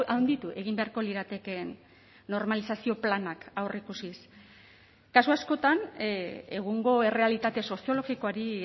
handitu egin beharko liratekeen normalizazio planak aurreikusiz kasu askotan egungo errealitate soziologikoari